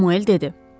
Samuel dedi.